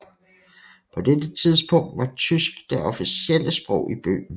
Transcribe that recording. På dette tidspunkt var tysk det officielle sprog i Bøhmen